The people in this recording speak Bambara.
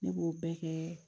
Ne b'o bɛɛ kɛ